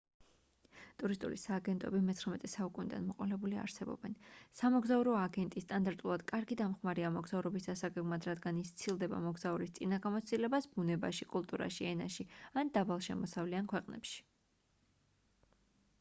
ტურისტული სააგენტოები xix საუკუნიდან მოყოლებული არსებობენ სამოგზაურო აგენტი სტანდარტულად კარგი დამხმარეა მოგზაურობის დასაგეგმად რადგან ის სცილდება მოგზაურის წინა გამოცდილებას ბუნებაში კულტურაში ენაში ან დაბალშემოსავლიან ქვეყნებში